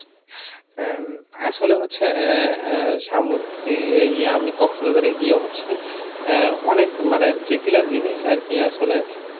আহ উম আসলে হচ্ছে আহ আহ সামুদ্রিক ইয়া আমি কক্সবাজারে গিয়ে হচ্ছে আহ অনেক মানে যেগুলা জিনিস আর কি আসলে আহ